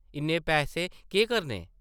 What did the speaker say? इन्ने पैसे केह् करने?